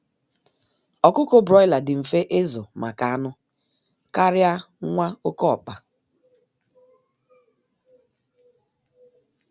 Ọkụkọ Broiler dị mfe izu maka anụ karịa nwa oké ọkpa